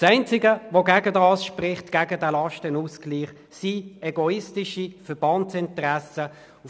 Das Einzige, das gegen den Lastenausgleich spricht, sind egoistische Verbandsinteressen.